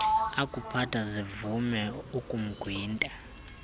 akuphatha zivume ukumgwinta